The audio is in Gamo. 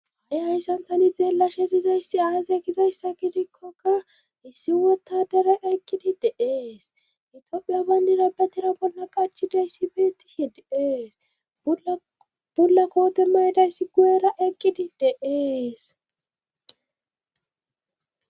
ha7i hayssan tani xeellashe dizayssi aaze gizayssa gidikkoka issi wottadera eqid de'es itiophiya bayndida betira bolla qachidayssi beettihi deees bulla koote maydayssi gu7era eqkidi de'es